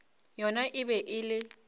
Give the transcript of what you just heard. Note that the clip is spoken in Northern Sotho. yona e be e le